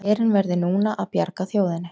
Herinn verði núna að bjarga þjóðinni